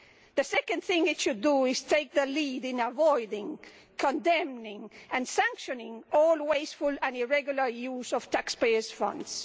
The second thing it should do is take the lead in avoiding, condemning and sanctioning all wasteful and irregular use of taxpayers' funds.